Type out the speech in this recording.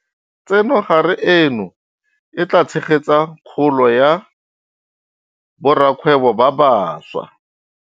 Tsenogare eno e tla tshegetsa kgolo ya borakgwebo ba bašwa.